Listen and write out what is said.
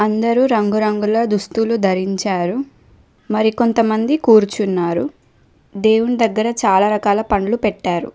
కొందరూ రంగురంగుల దుస్తులు ధరించారు మరి కొంత మంది కూర్చున్నారు దేవుని దగ్గర చాలా రకాల పండ్లు పెట్టారు.